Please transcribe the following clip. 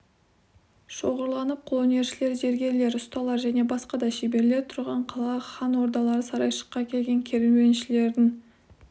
шоғырланып қолөнершілер зергерлер ұсталар және басқа да шеберлер тұрған қала хан ордалы сарайшыққа келген керуеншілердің